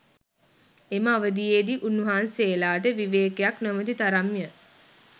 එම අවධීයේ දී උන්වහන්සේලාට විවේකයක් නොමැති තරම්ය